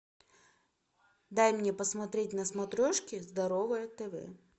дай мне посмотреть на смотрешке здоровое тв